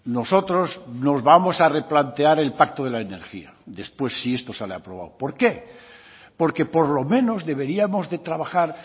nosotros nos vamos a replantear el pacto de la energía después si esto sale aprobado por qué porque por lo menos deberíamos de trabajar